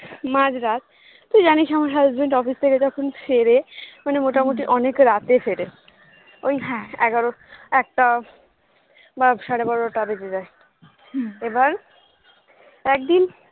মাঝরাত তুই জানিস আমার husband office থেকে যখন ফেরে মানে মোটামোটি অনেক রাতে ফেরে ওই এগারোটা একটা বা সাড়ে বারোটা বেজে যায় এবার একদিন